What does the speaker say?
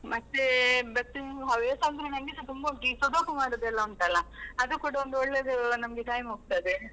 ಮತ್ತೇ, ಮತ್ತೆ ನನ್ನ್ ಹವ್ಯಾಸ ಅಂದ್ರೆ ನಂಗೆಸ ತುಂಬ ಉಂಟು, ಈ sudoku ಮಾಡುದೆಲ್ಲ ಉಂಟಲ್ಲ, ಅದು ಕೂಡಾ ಒಂದು ಒಳ್ಳೆದು ನಮ್ಗೆ time ಹೋಗ್ತದೆ.